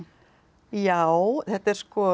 já þetta er